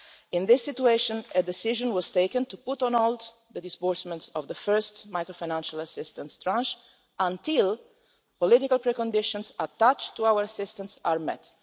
In this situation, a decision was taken to put on hold the disbursement of the first macro-financial assistance tranche until the political preconditions attached to our assistance are met.